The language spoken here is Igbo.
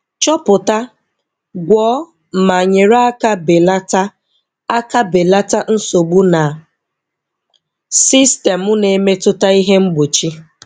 Chọpụta, gwọọ ma nyere aka belata aka belata nsogbu na sistemu na-emetụta ihe mgbochi.